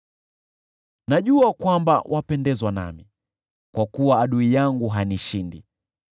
Najua kwamba wapendezwa nami, kwa kuwa adui yangu hanishindi.